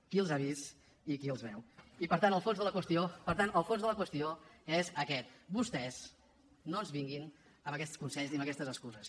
qui els ha vist i qui els veu i per tant el fons de la qüestió per tant el fons de la qüestió és aquest vostès no ens vinguin amb aquests consells i amb aquestes excuses